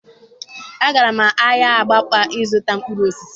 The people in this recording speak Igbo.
Agara m ahịa Abakpa ịzụta mkpụrụ osisi